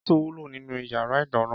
Kètú wúló ninú iyàrá idàná